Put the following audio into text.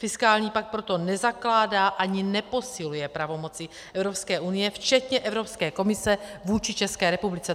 Fiskální pakt proto nezakládá ani neposiluje pravomoci Evropské unie včetně Evropské komise vůči České republice.